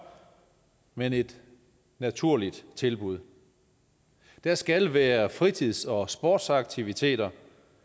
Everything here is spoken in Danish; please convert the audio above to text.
men et naturligt tilbud der skal være fritids og sportsaktiviteter